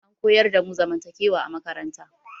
An koyar damu zamantakewa a makaranta